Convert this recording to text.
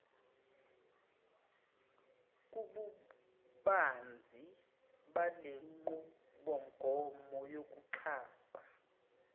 kobubanzi balenqubomgomo yokuxhasa